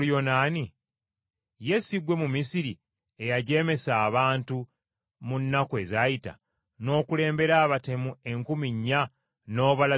Ye si ggwe Mumisiri eyajeemesa abantu mu nnaku ezayita, n’okulembera abatemu enkumi nnya n’obalaza mu ddungu?”